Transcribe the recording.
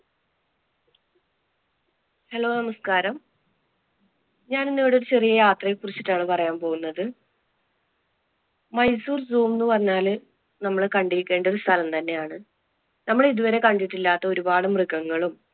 hello നമസ്കാരം, ഞാനിന്നിവിടെ ഒരു ചെറിയ യാത്രയെ കുറിച്ചിട്ടാണ് പറയാൻ പോകുന്നത്. മൈസൂർ zoo എന്ന് പറഞ്ഞാല് നമ്മൾ കണ്ടിരിക്കേണ്ട ഒരു സ്ഥലം തന്നെ ആണ്. നമ്മൾ ഇതുവരെ കണ്ടിട്ടില്ലാത്ത ഒരുപാട് മൃഗങ്ങളും,